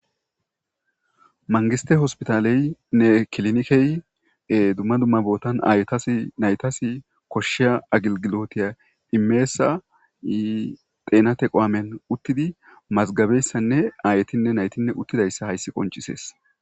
mangiste hospitaleynne kilnikey dumma dumma bootan ayetas naytas koshshiya agilgilotiya imeesa xeenate qoamen uttidi mazgabeyssanne aayetinne naytinne uttidayssa hayssi qoncisees